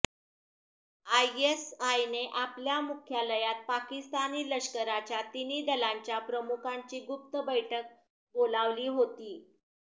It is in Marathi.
आयएसआयने आपल्या मुख्यालयात पाकिस्तानी लष्कराच्या तिन्ही दलांच्या प्रमुखांची गुप्त बैठक बोलवली होती